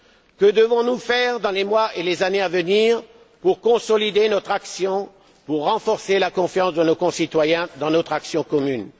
Que devons nous faire dans les mois et les années à venir pour consolider notre action, pour renforcer la confiance de nos concitoyens dans notre action commune?